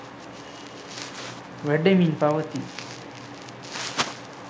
වැඩෙමින් පවතී.